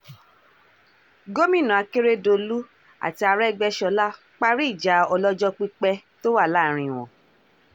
gomina akeredolu àti aregbèsọlá parí ìjà ọlọ́jọ́ pípẹ́ tó wà láàrin wọn